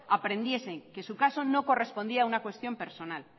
aprendiesen que su caso no correspondía a una cuestión personal